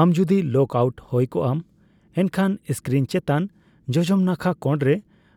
ᱟᱢ ᱡᱚᱫᱤ log out ᱦᱳᱭ ᱠᱚᱜ ᱟᱢ, ᱮᱱᱠᱷᱟᱱ ᱤᱥᱠᱤᱨᱤᱱ ᱪᱮᱛᱟᱱ ᱡᱚᱡᱚᱢ ᱱᱟᱠᱷᱟ ᱠᱚᱲᱨᱮ